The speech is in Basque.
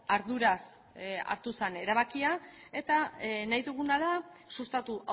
arduraz hartu zen erabakia eta nahi duguna da sustatu